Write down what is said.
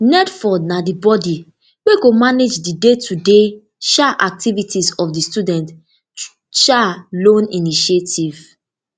nelfund na di body wey go manage di daytoday um activities of di student um loan initiative